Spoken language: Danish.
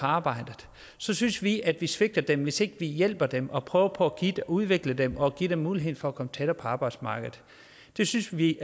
arbejde så synes vi at vi svigter dem hvis ikke vi hjælper dem og prøver på at udvikle dem og give dem muligheden for at komme tættere på arbejdsmarkedet det synes vi